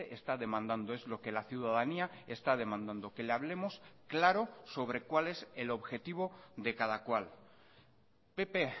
está demandando es lo que la ciudadanía está demandando que le hablemos claro sobre cuál es el objetivo de cada cual pp